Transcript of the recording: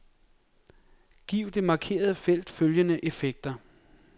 Giv det markerede felt følgende effekter.